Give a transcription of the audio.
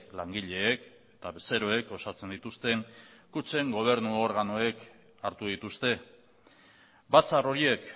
langileek eta bezeroek osatzen dituzten kutxen gobernu organoek hartu dituzte batzar horiek